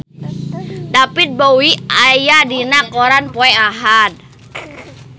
David Bowie aya dina koran poe Ahad